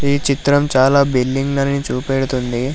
ఈ చిత్రం చాలా బిల్డింగ్లను చూపెడుతుంది.